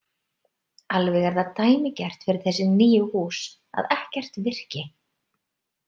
Alveg er það dæmigert fyrir þessi nýju hús að ekkert virki.